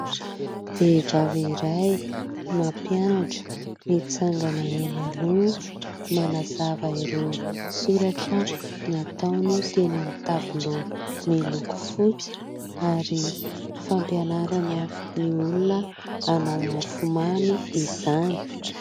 Vehivavy iray mampianatra, mitsangana eny aloha , manazava ireo soratra nataony teny amin'ny tabilao miloko fotsy ary fampianarana ny olona hanao mofo mamy izany .